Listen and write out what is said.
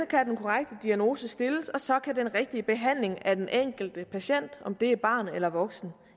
kan den korrekte diagnose stilles og så kan den rigtige behandling af den enkelte patient om det er barn eller voksen